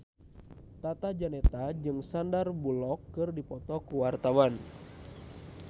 Tata Janeta jeung Sandar Bullock keur dipoto ku wartawan